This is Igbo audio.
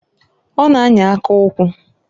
Ọ na -anya aka ukwu.